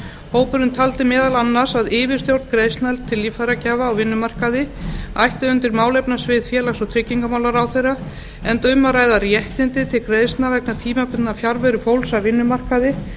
hópurinn taldi meðal annars að yfirstjórn greiðslna til líffæragjafa á vinnumarkaði ætti undir málefnasvið félags og tryggingamálaráðherra enda um að ræða réttindi til greiðslna vegna tímabundinnar fjarveru fólks af vinnumarkaði